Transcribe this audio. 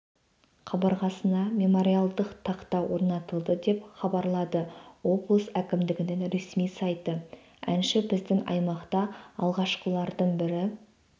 қабырғасына мемориалдық тақта орнатылды деп хабарлады облыс әкімінің ресми сайты әнші біздің аймақта алғашқылардың бірі